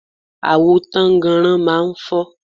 Àwo tánnganran máa ń fọ́.